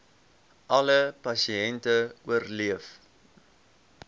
alle pasiënte oorleef